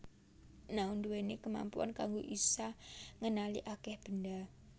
Nao ndhuwèni kemampuan kanggo isa ngenali akèh benda